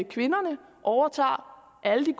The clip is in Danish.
kvinderne overtager alle de